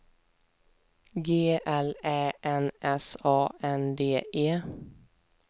G L Ä N S A N D E